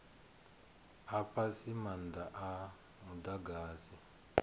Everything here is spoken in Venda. a fhasi maanda a mudagasi